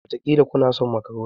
Wataƙila kuna son makaroni.